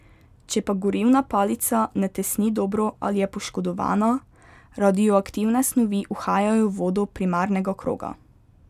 Če pa gorivna palica ne tesni dobro ali je poškodovana, radioaktivne snovi uhajajo v vodo primarnega kroga.